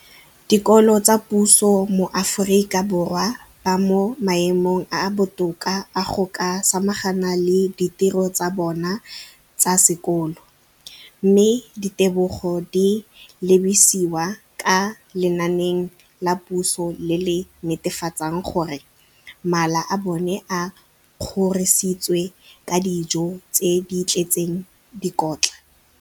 Dikolo tsa puso mo Aforika Borwa ba mo maemong a a botoka a go ka samagana le ditiro tsa bona tsa sekolo, mme ditebogo di lebisiwa kwa lenaaneng la puso le le netefatsang gore mala a bona a kgorisitswe ka dijo tse di tletseng dikotla.